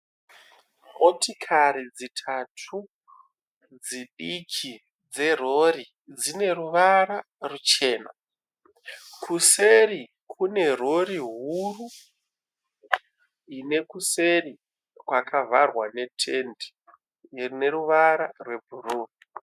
Motikari dzitatu dzidiki dzerori dzine ruvara ruchena. Kuseri kune rori huru ine kuseri kwavharwa netendi rine ruvara rwebhuru.